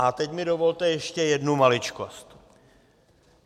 A teď mi dovolte ještě jednu maličkost.